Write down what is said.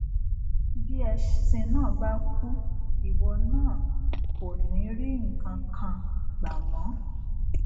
bí ẹṣin náà bá kú ìwọ náà ò ní rí nǹkan kan gbà mó